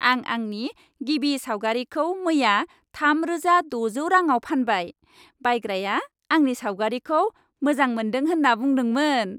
आं आंनि गिबि सावगारिखौ मैया थामरोजा द'जौ रांआव फानबाय। बायग्राया आंनि सावगारिखौ मोजां मोन्दों होन्ना बुंदोंमोन।